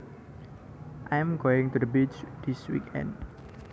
I am going to the beach this weekend